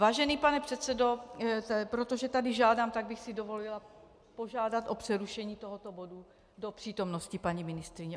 Vážený pane předsedo, protože tady žádám, tak bych si dovolila požádat o přerušení tohoto bodu do přítomnosti paní ministryně.